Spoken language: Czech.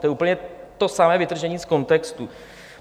To je úplně to samé vytržení z kontextu.